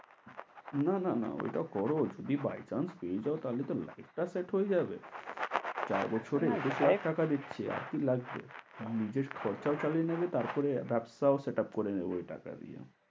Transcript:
না না না ওইটা করো যদি by chance পেয়ে যাও তাহলে life টা set হয়ে যাবে। চার বছরে টাকা দিচ্ছে আর কি লাগবে? তোমার নিজের খরচাও চালিয়ে নেবে তারপরে একটা set up করে নেবে ঐ টাকা দিয়ে।